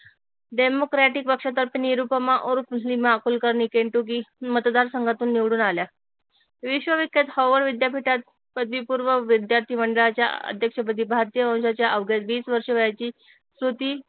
democratic पक्षातर्फे निरूपमा और Nima Kulkarni Kentucky मतदार संघातून निवडून आल्या विश्व विख्यात विद्यापीठात पदवीपूर्व विद्यार्थी मंडळाच्या अध्यक्षपदी भारतीय वंशाच्या अवघ्या वीस वर्ष वयाचीच